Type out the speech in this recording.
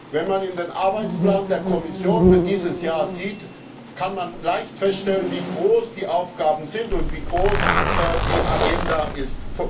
Wenn man in den Arbeitsplan der Kommission für dieses Jahr sieht, kann man leicht feststellen, wie groß die Aufgaben sind und wie groß die Agenda ist.